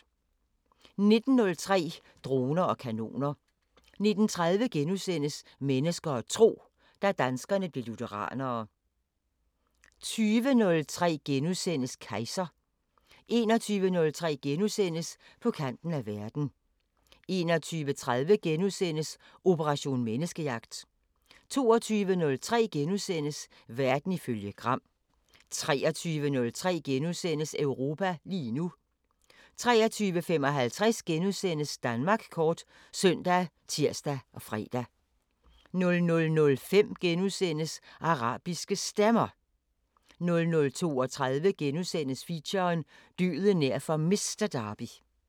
19:03: Droner og kanoner 19:30: Mennesker og tro: Da danskerne blev lutheranere * 20:03: Kejser * 21:03: På kanten af verden * 21:30: Operation Menneskejagt * 22:03: Verden ifølge Gram * 23:03: Europa lige nu * 23:55: Danmark kort *( søn, tir, fre) 00:05: Arabiske Stemmer * 00:32: Feature: Døden nær for Mister Derby *